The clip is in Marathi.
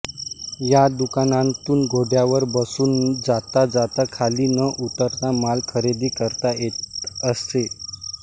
या दुकानांतून घोड्यावर बसून जाता जाता खाली न उतरता माल खरेदी करता येत असे